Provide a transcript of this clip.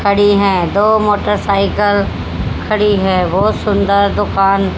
खड़ी हैं दो मोटरसाइकिल खड़ी है बहुत सुंदर दुकान--